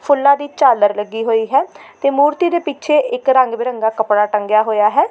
ਫੁੱਲਾਂ ਦੀ ਝਾਲਰ ਲੱਗੀ ਹੋਈ ਹੈ ਤੇ ਮੂਰਤੀ ਦੇ ਪਿੱਛੇ ਇੱਕ ਰੰਗ ਬਿਰੰਗਾ ਕੱਪੜਾ ਟੰਗਿਆ ਹੋਇਆ ਹੈ।